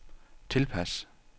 tilpas